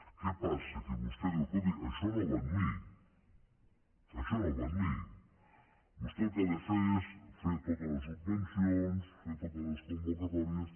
què passa que vostè diu escolti això no va amb mi això no vam amb mi vostè el que ha de fer és fer totes les subvencions fer totes les convocatòries